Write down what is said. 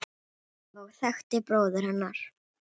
og þekktir bróður hennar.